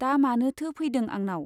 दा मानोथो फैदों आंनाव ?